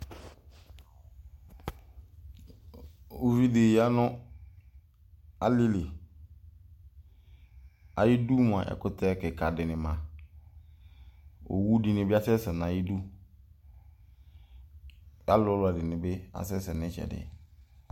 Ʋvidi yanʋ alili ayʋ idʋ mʋa ɛkʋtɛ kika di ma owʋdini bi asɛsɛ nʋ ayʋ idʋ alʋlʋ ɛdini bi asɛsɛ nʋ ayʋ itsɛdi